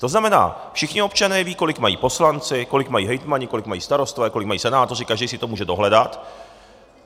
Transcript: To znamená, všichni občané vědí, kolik mají poslanci, kolik mají hejtmani, kolik mají starostové, kolik mají senátoři, každý si to může dohledat.